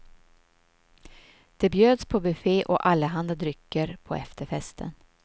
Det bjöds på buffé och allehanda drycker på efterfesten.